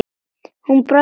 Hún brosti með